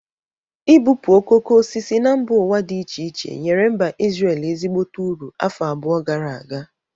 Ị bupụ okoko osisi na mba ụwa dị iche iche nyere mba Ịzrel ezigbote uru afọ abụọ gara aga.